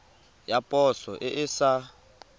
ya poso e e sa